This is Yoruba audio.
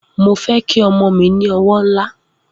Mo fe ki omo mi ni owo nla